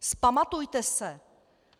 Vzpamatujte se!